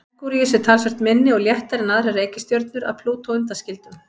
Merkúríus er talsvert minni og léttari en aðrar reikistjörnur að Plútó undanskildum.